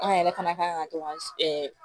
An yɛrɛ fana kan ka to ka ɛɛ